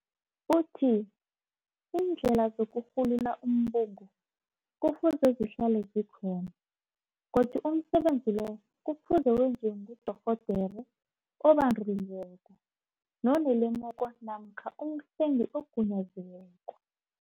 Uthi, Iindlela zokurhulula umbungu kufuze zihlale zikhona godu umsebenzi loyo kufuze wenziwe ngudorhodere obanduliweko nonelemuko namkha umhlengi ogunyaziweko